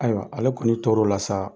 Ayiwa ale kɔni toro la sa